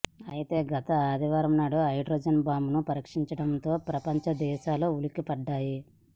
అయితే గత ఆదివారం నాడు హైడ్రోజన్ బాంబును పరీక్షించడంతో ప్రపంచదేశాలు ఉలిక్కిపడ్డాయి